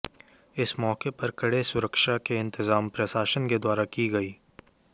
इस मौके पर कड़े सुरक्षा के इंतजाम प्रशासन के द्वारा की गयी